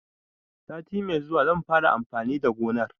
Sati mai zuwa zan fara amfani da gonar.